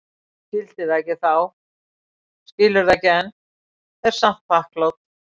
Skildi það ekki þá, skilur það ekki enn, er samt þakklát.